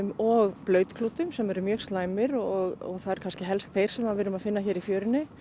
og sem eru mjög slæmir og það eru kannski helst þeir sem við erum að finna hér í fjörunni